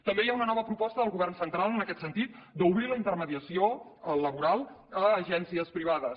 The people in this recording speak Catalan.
també hi ha una nova proposta del govern central en aquest sentit d’obrir la intermediació laboral a agències privades